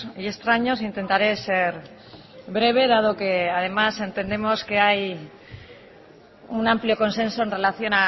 y extraños intentaré ser breve dado que además entendemos que hay un amplio consenso en relación